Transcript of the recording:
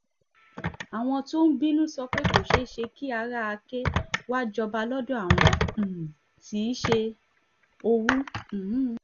àwọn tó ń bínú sọ pé kò ṣeé ṣe kí ara àkè wàá jọba lọ́dọ̀ àwọn um tí í ṣe òwú um